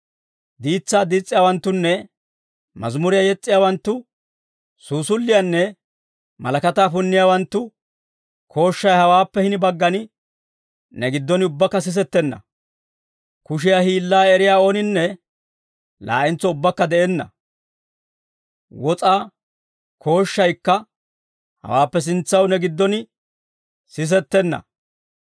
Diitsaa diis's'iyaawanttunne, mazimuriyaa yes's'iyaawanttu, suusulliyaanne malakataa punniyaawanttu, kooshshay hawaappe hini baggan, ne giddon ubbakka sisettenna. Kushiyaa hiillaa eriyaa ooninne, laa'entso ubbakka de'enna. Wos'aa kooshshaykka hawaappe sintsaw ne giddon sisettenna.